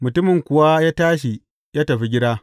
Mutumin kuwa ya tashi ya tafi gida.